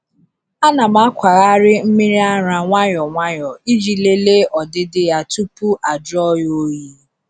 A na m akwagharị mmiri ara nwayọ nwayọ iji lelee ọdịdị ya tupu ajụọ ya oyi.